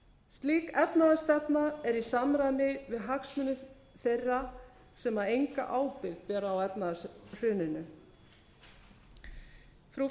slík efnahagsstefna er í samræmi við hagsmuni þeirra sem enga ábyrgð bera á efnahagshruninu frú